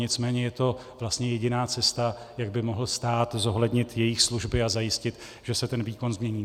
Nicméně je to vlastně jediná cesta, jak by mohl stát zohlednit jejich služby a zajistit, že se ten výkon změní.